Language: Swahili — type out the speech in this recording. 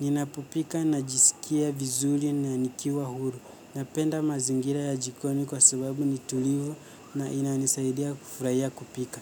ninapopika najisikia vizuri na nikiwa huru, napenda mazingira ya jikoni kwa sababu ni tulivu na inanisaidia kufurahia kupika.